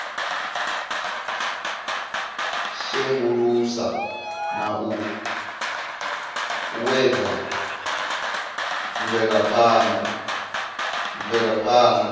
sengulusa na u uuwedza mvelaphana